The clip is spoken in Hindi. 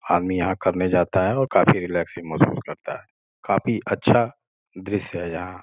आदमी यहां करने जाता है और काफी रिलैक्सइंग महसूस करता है काफी अच्छा दृश्य है यहां।